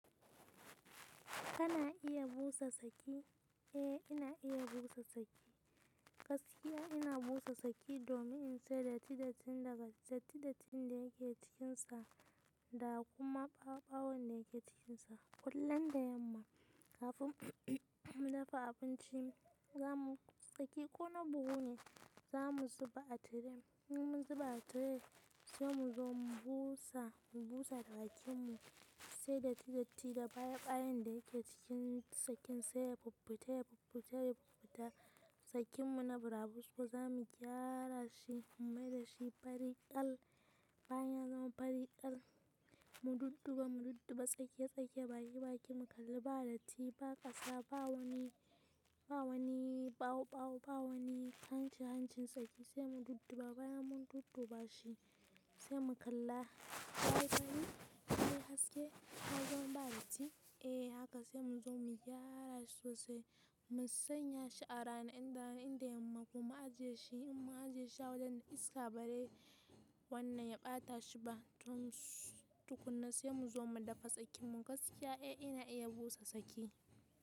Kana iya busa saki? Eh ina iya bu sosai. Gaskiya ina busa saki domin in cire datti dattin da bat-- datti dattin da yake cikinsa da kuma ɓawoɓawon da yake cikinsa. Kullun da yamma kafin mu dafa abinci, zamu saki ko na buhu ne, zamu zuba a tire. In mun zuba a tire sai mu zo mu busa, mu busa da bakin mu sai datti datti da baya ɓayan da yake cikin sakin sai ya pupputa ya pupputa ya pupputa. Sakin mu na burabusko zamu gyara shi, mu mai da shi fari kal. Bayan ya zama fari kal mu dudduba mu dudduba tsakiya tsakiya baki baki mu kalla ba datti, ba ƙasa, ba wani, ba wani ɓawo ɓawo, ba wani hanci hancin saki sai mu dudduba bayan mun dudduba shi sai mu kalla. Yayi fari? Yayi haske? Ya zama ba datti? Eh haka sai mu zo mu gyara shi sosai, mu sanya shi a rana inda-- inda yamma kuma a ajiye shi. In mun ajiye shi a wajen da iska ba re wannan ya ɓata shi ba tukuna sai mu zo mu dafa sakin mu. Gaskiya eh ina iya busa saki.